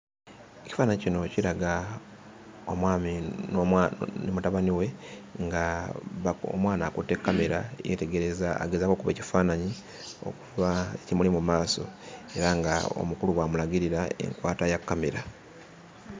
Ekifaananyi kino kiraga omwami ne mutabani we ng'omwana akutte kamera yeetegereza, agezaako okukuba ekifaananyi okkuba ekimuli mu maaso era ng'omukulu bw'amulagirira enkwata ya kamera.